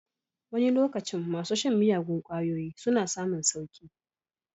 Wani lokacin masu shan miyagun kwayoyi suna samun sauki.